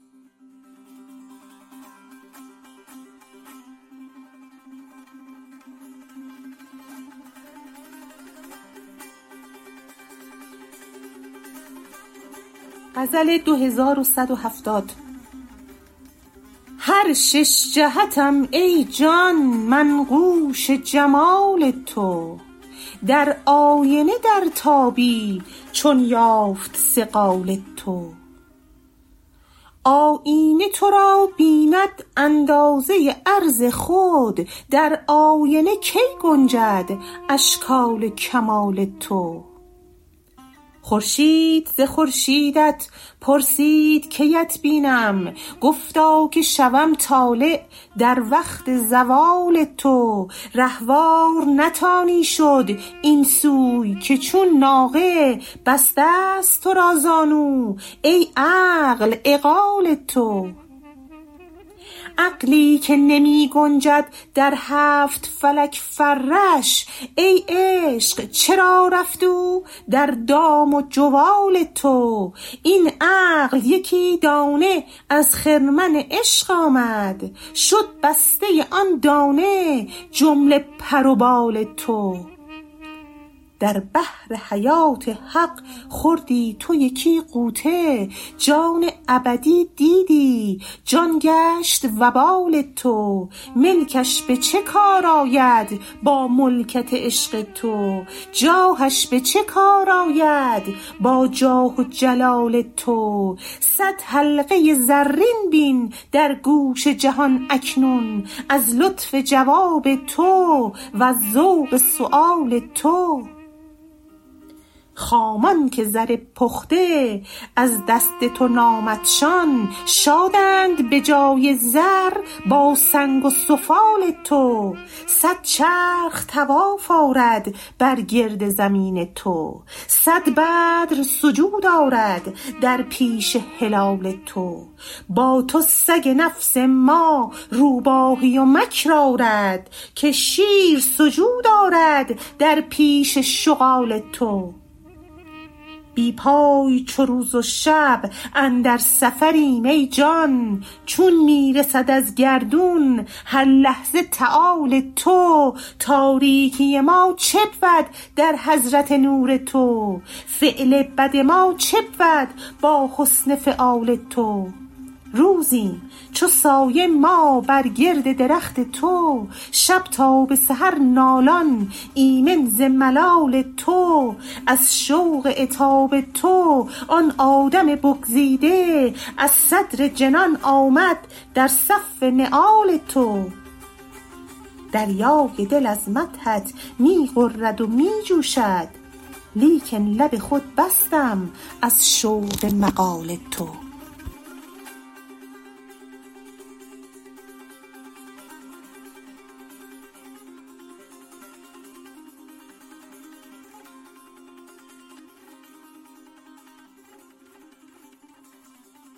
هر شش جهتم ای جان منقوش جمال تو در آینه درتابی چون یافت صقال تو آیینه تو را بیند اندازه عرض خود در آینه کی گنجد اشکال کمال تو خورشید ز خورشیدت پرسید کی ات بینم گفتا که شوم طالع در وقت زوال تو رهوار نتانی شد این سوی که چون ناقه بسته ست تو را زانو ای عقل عقال تو عقلی که نمی گنجد در هفت فلک فرش ای عشق چرا رفت او در دام و جوال تو این عقل یکی دانه از خرمن عشق آمد شد بسته ی آن دانه جمله پر و بال تو در بحر حیات حق خوردی تو یکی غوطه جان ابدی دیدی جان گشت وبال تو ملکش به چه کار آید با ملکت عشق تو جاهش به چه کار آید با جاه و جلال تو صد حلقه زرین بین در گوش جهان اکنون از لطف جواب تو وز ذوق سؤال تو خامان که زر پخته از دست تو نامدشان شادند به جای زر با سنگ و سفال تو صد چرخ طواف آرد بر گرد زمین تو صد بدر سجود آرد در پیش هلال تو با تو سگ نفس ما روباهی و مکر آرد که شیر سجود آرد در پیش شغال تو بی پای چو روز و شب اندر سفریم ای جان چون می رسد از گردون هر لحظه تعال تو تاریکی ما چه بود در حضرت نور تو فعل بد ما چه بود با حسن فعال تو روزیم چو سایه ما بر گرد درخت تو شب تا به سحر نالان ایمن ز ملال تو از شوق عتاب تو آن آدم بگزیده از صدر جنان آمد در صف نعال تو دریای دل از مدحت می غرد و می جوشد لیکن لب خود بستم از شوق مقال تو